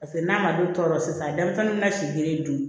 Paseke n'a ma don tɔ la sisan denmisɛnninw bɛna si kelen dun